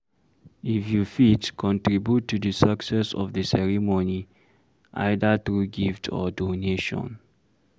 If you fit, contribute to di success of di ceremony either through gift or donation